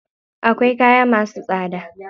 Akwai kaya masu tsada.